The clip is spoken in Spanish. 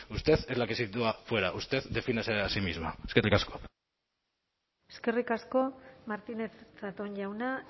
usted es la que sitúa fuera usted defínase a sí misma eskerrik asko eskerrik asko martínez zatón jauna